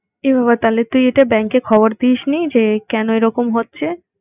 এ বাবা তাইলে তুই এটা bank এ খবর দিস নি যে, কেন এরকম হচ্ছে?